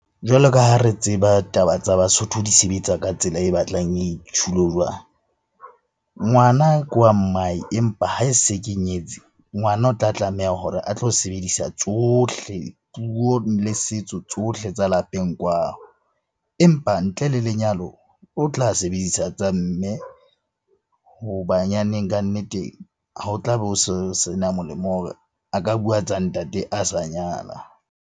Jwalo ka ha re tseba taba tsa Basotho di sebetsa ka tsela e batlang . Ngwana ke wa mmae empa ha e se ke nyetse, ngwana o tla tlameha hore a tlo sebedisa tsohle. Puo le setso tsohle tsa lapeng kwano. Empa ntle le lenyalo o tla sebedisa tsa mme ho banyaneng kannete ho tlabe o so sena molemo hore a ka bua tsa ntate a sa nyala.